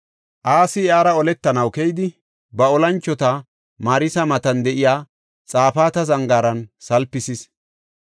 Asi iyara oletanaw keyidi ba olanchota Marisa matan de7iya Xafaata zangaaran salpisis.